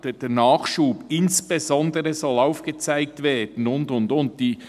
Gerade der Nachsatz: «Insbesondere soll aufgezeigt werden, […]», und so weiter und so fort;